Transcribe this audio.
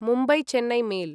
Mumbai Chennai mail